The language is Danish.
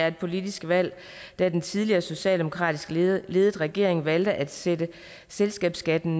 et politisk valg da den tidligere socialdemokratisk ledede regering valgte at sætte selskabsskatten